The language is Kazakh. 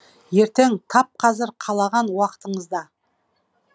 ертең тап қазір қалаған уақытыңызда